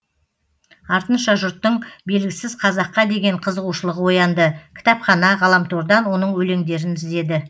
артынша жұрттың белгісіз қазаққа деген қызығушылығы оянды кітапхана ғаламтордан оның өлеңдерін іздеді